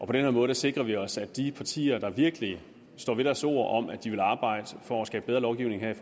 på den her måde sikrer vi os at de partier der virkelig står ved deres ord om at de vil arbejde for at skabe bedre lovgivning her i